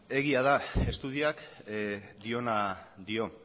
eskerrik asko egia da estudioak diona dio